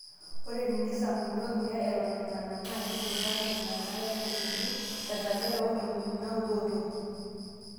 Ore teinesampuni ormuya Eton enana, naa keiturraa Nena naakesuni tesajata oo ntomoni naaudo otoki.